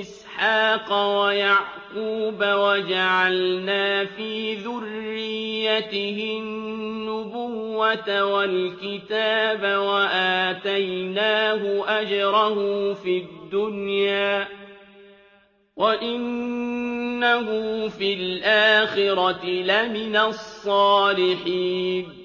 إِسْحَاقَ وَيَعْقُوبَ وَجَعَلْنَا فِي ذُرِّيَّتِهِ النُّبُوَّةَ وَالْكِتَابَ وَآتَيْنَاهُ أَجْرَهُ فِي الدُّنْيَا ۖ وَإِنَّهُ فِي الْآخِرَةِ لَمِنَ الصَّالِحِينَ